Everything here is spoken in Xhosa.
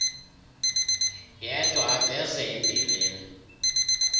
yedwa aveze imbilini